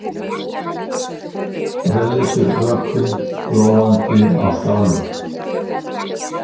Rauðleitur vökvi glóandi á skálum.